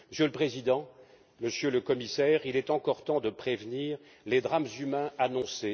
Monsieur le Président, Monsieur le Commissaire, il est encore temps de prévenir les drames humains annoncés.